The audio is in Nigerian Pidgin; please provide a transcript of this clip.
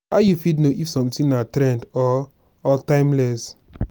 how you fit know if something na trend or or timeless?